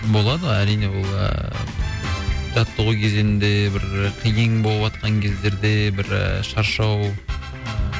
болады әрине ол ііі жаттығу кезеңінде бір қиын боватқан кездерде бір шаршау